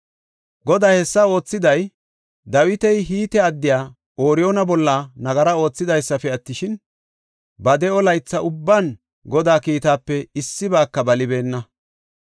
Goday hessa oothiday, Dawiti Hite addiya Ooriyoona bolla nagara oothidaysafe attishin, ba de7o laytha ubban Godaa kiitaape issibaaka balibeenna.